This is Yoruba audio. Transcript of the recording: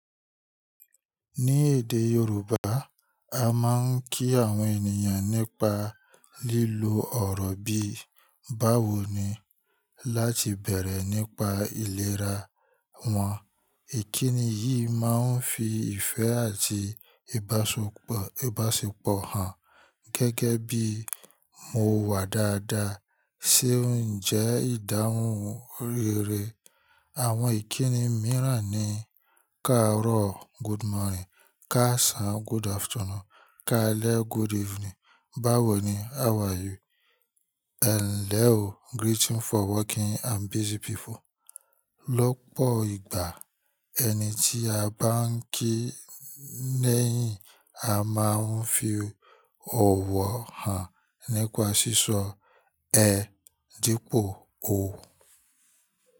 Ní èdè Yorùbá, a máa ń kí àwọn ènìyàn nípa lílo ọ̀rọ̀ bíi "báwo ni?" láti bẹ̀rẹ̀ nípa ìlera wọn. Ìkíni yìí máa ń fi ìfẹ́ àti ìbáṣepọ̀ hàn gẹ́gẹ́ bí mo wà dáadáa ṣe ń jẹ́ ìdáhùn rere. Àwọn ìkíni mìíràn ni "káàró" good morning, "káàsán" good afternoon, "káàlẹ́" good evening, "báwo ni? How are you", "ẹ̀n le o-greeting for working and busy people. Lọ́pọ̀ ìgbà, ẹni tí a bá ń kí níyìn, a máa ń fi ọ̀wọ̀ hàn nípa sísọ "ẹ" dípò "o".